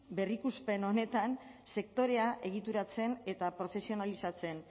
berrikuspen honetan sektorea egituratzen eta profesionalizatzen